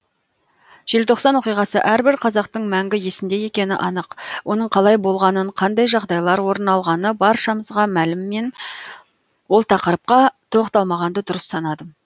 желтоқсан оқиғасы әрбір қазақтың мәңгі есінде екені анық оның қалай болғанын қандай жағдайлар орын алғаны баршамызға мәлім мен ол тақырыпқа тоқталмағанды дұрыс санадым